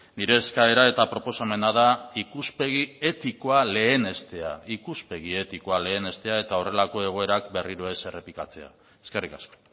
nire eskaera eta proposamena da ikuspegi etikoa lehenestea ikuspegi etikoa lehenestea eta horrelako egoerak berriro ez errepikatzea eskerrik asko